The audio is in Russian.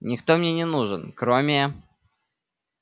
никто мне не нужен кроме